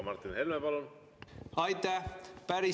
Martin Helme, palun!